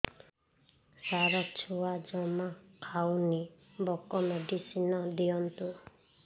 ସାର ଛୁଆ ଜମା ଖାଉନି ଭୋକ ମେଡିସିନ ଦିଅନ୍ତୁ